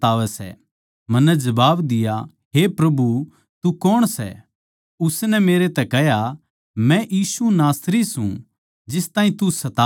मन्नै जबाब दिया हे प्रभु तू कौण सै उसनै मेरै तै कह्या मै यीशु नासरी सूं जिस ताहीं तू सतावै सै